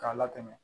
K'a latɛmɛ